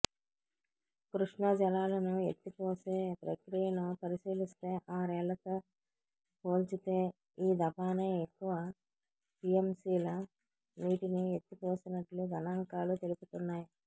కృష్ణా జలాలను ఎత్తిపోసే ప్రక్రియను పరిశీలిస్తే ఆరేళ్లతో పోల్చితే ఈ దఫానే ఎక్కువ టీఎంసీల నీటిని ఎత్తిపోసినట్లు గణాంకాలు తెలుపుతున్నాయి